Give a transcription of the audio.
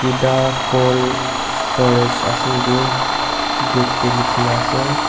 kuda cold storage ase etu gate te likhi ne ase.